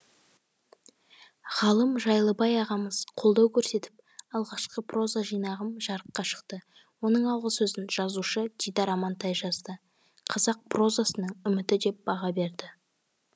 ғалым жайлыбай ағамыз қолдау көрсетіп алғашқы проза жинағым жарыққа шықты оның алғысөзін жазушы дидар амантай жазды қазақ прозасының үміті деп баға берді